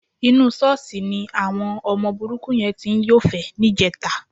Inú ṣọ́ọ̀ṣì ni àwọn burúkú yẹn ti ń yọ́fẹ̀ẹ́ níjẹta.